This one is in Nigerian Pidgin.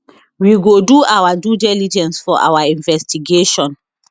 we go do our due diligence for our investigation